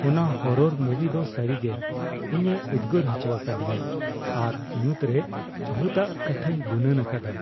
ᱚᱱᱟ ᱦᱚᱨᱚᱨ ᱢᱩᱵᱷᱤ ᱫᱚ ᱥᱟᱹᱨᱤᱜᱮ ᱤᱧᱮ ᱩᱫᱽᱜᱟᱹᱨ ᱦᱚᱪᱚ ᱟᱠᱟᱫᱤᱧᱟᱹ ᱟᱨ ᱧᱩᱛ ᱨᱮ ᱵᱷᱩᱛᱼᱟᱜ ᱠᱟᱛᱷᱟᱧ ᱜᱩᱱᱟᱹᱱ ᱟᱠᱟᱫᱟ ᱾